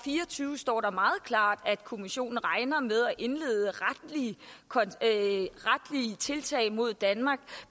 fire og tyve står der meget klart at kommissionen regner med at indlede retslige tiltag mod danmark